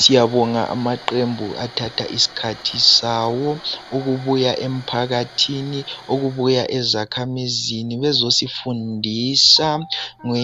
Siyabonga amaqembu athatha isikhathi sawo ukubuya emphakathini, ukubuya ezakhamizini bezosifundisa